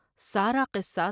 سارا قصہ